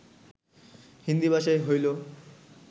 হিন্দী ভাষায় হইল